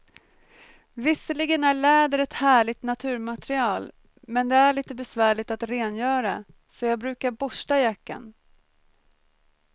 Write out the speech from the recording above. Visserligen är läder ett härligt naturmaterial, men det är lite besvärligt att rengöra, så jag brukar borsta jackan.